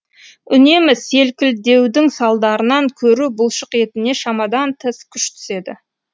үнемі селкілдеудің салдарынан көру бұлшықетіне шамадан тыс күш түседі